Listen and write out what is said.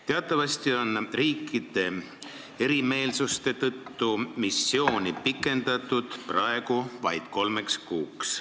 Teatavasti on riikide erimeelsuste tõttu missiooni pikendatud praegu vaid kolmeks kuuks.